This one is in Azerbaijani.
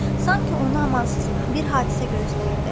Sanki onu amansız bir hadisə gözləyirdi.